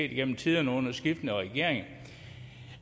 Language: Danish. gennem tiderne under skiftende regeringer